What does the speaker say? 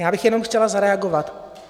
Já bych jenom chtěla zareagovat.